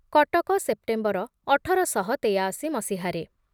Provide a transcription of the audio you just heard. Cuttack September ଅଠର ଶହ ତେୟାଅଶି ମସିହାରେ